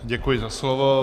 Děkuji za slovo.